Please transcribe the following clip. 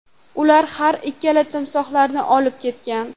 Ular har ikkala timsohlarni olib ketgan.